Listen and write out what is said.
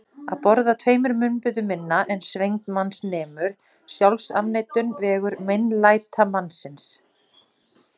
Að borða tveimur munnbitum minna en svengd manns nemur: sjálfsafneitun, vegur meinlætamannsins.